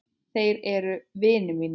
Þeir eru vinir mínir.